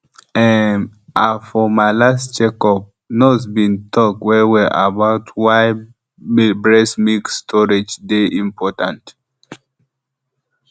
ehm ah for my last checkup the nurse been talk wellwell about why breast milk storage dey important